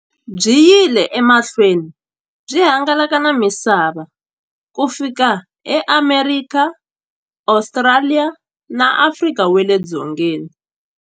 Byi yile emahlweni byi hangalaka na misava ku fika e Amerika, Ostraliya na Afrika wale dzongeni.